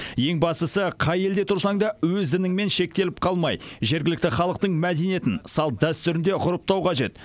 ең бастысы қай елде тұрсаң да өзініңмен шектеліп қалмай жергілікті халықтың мәдениетін салт дәстүрін де ғұрыптау қажет